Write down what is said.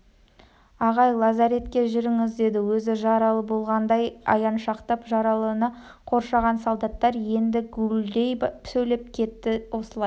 ағай лазаретке жүріңіз деді өзі жаралы болғандай аяншақтап жаралыны қоршаған солдаттар енді гуілдей сөйлеп кетті осылай